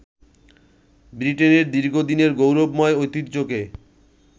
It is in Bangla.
ব্রিটেনের দীর্ঘদিনের গৌরবময় ঐতিহ্যকে